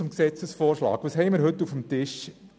Zum Gesetzesvorschlag: Was haben wir heute auf dem Tisch?